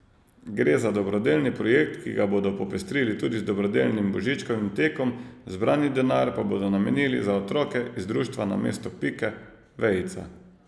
Gre za dobrodelni projekt, ki ga bodo popestrili tudi z dobrodelnim božičkovim tekom, zbrani denar pa bodo namenili za otroke iz društva Namesto pike, vejica.